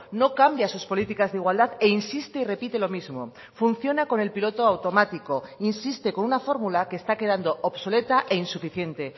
no cambia sus políticas de igualdad e insiste y repite lo mismo funciona con el piloto automático insiste con una fórmula que está quedando obsoleta e insuficiente